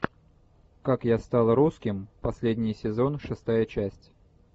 как я стал русским последний сезон шестая часть